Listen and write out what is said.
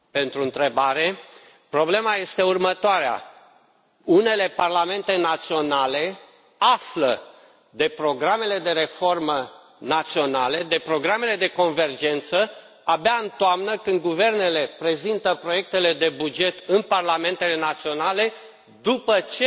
Vă mulțumesc pentru întrebare. Problema este următoarea unele parlamente naționale află de programele de reformă naționale, de programele de convergență, abia în toamnă, când guvernele prezintă proiectele de buget în parlamentele naționale, după ce